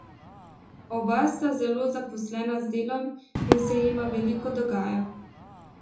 Oba sta zelo zaposlena z delom in se jima veliko dogaja.